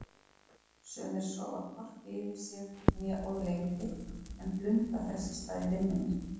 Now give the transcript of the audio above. Sumir sofa hvorki yfir sig né of lengi en blunda þess í stað í vinnunni.